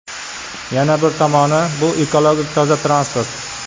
Yana bir tomoni, bu ekologik toza transport.